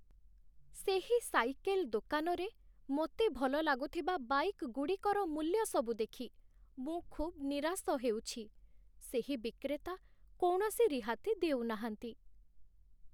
ସେହି ସାଇକେଲ୍ ଦୋକାନରେ ମୋତେ ଭଲ ଲାଗୁଥିବା ବାଇକ୍ସ୍‌ଗୁଡ଼ିକର ମୂଲ୍ୟସବୁ ଦେଖି ମୁଁ ଖୁବ୍ ନିରାଶ ହେଉଛି। ସେହି ବିକ୍ରେତା କୌଣସି ରିହାତି ଦେଉନାହାନ୍ତି।